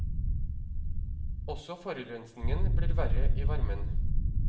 Også forurensningen blir verre i varmen.